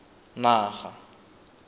naga